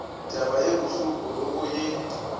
taba ye bohloko roko ye